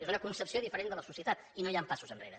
és una concepció diferent de la societat i no hi han passos enrere